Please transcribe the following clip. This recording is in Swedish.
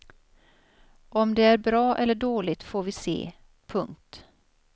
Om det är bra eller dåligt får vi se. punkt